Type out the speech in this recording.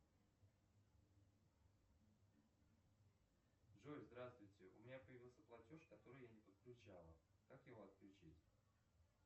джой здравствуйте у меня появился платеж который я не подключала как его отключить